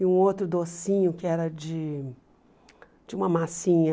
E um outro docinho que era de de uma massinha...